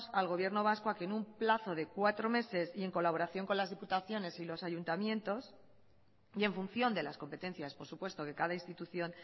al gobierno vasco a que en un plazo de cuatro meses y en colaboración con las diputaciones y los ayuntamientos y en función de las competencias por supuesto que cada institución